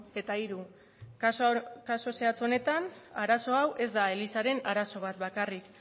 eta hiru kasu zehatz honetan arazo hau ez da elizaren arazo bat bakarrik